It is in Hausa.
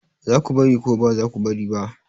Za ku bari ko ba za ku bari ba?